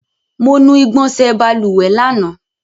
Mo nu igbọnsẹ̀ balùwẹ̀ lánàá.